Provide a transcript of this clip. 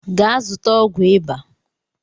Gaa zụta ọgwụ ịba!